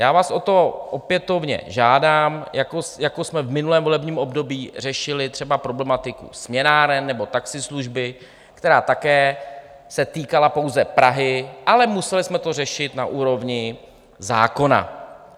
Já vás o to opětovně žádám, jako jsme v minulém volebním období řešili třeba problematiku směnáren nebo taxislužby, která se také týkala pouze Prahy, ale museli jsme to řešit na úrovni zákona.